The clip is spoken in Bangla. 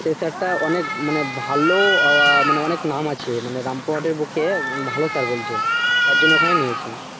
সেই sir টা অনেক মানে ভালো মানে অনেক নাম আছে মানে রামপুরহাটের বুকে ভালো sir বলছে তারজন্য ঐখানে নিয়ে আসি।